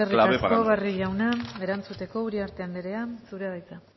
clave para nosotros eskerrik asko barrio jauna erantzuteko uriarte anderea zurea da hitza